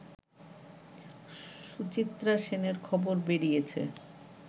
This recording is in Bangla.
সুচিত্রা সেনের খবর বেরিয়েছে